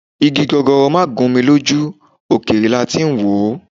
Igi gogoro má gún mi lójú, òkèèrè la tí í wò ó